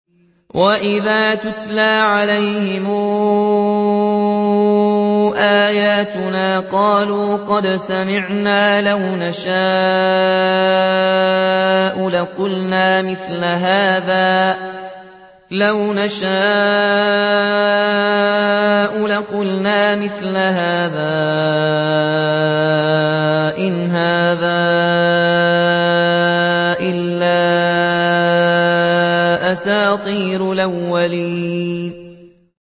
وَإِذَا تُتْلَىٰ عَلَيْهِمْ آيَاتُنَا قَالُوا قَدْ سَمِعْنَا لَوْ نَشَاءُ لَقُلْنَا مِثْلَ هَٰذَا ۙ إِنْ هَٰذَا إِلَّا أَسَاطِيرُ الْأَوَّلِينَ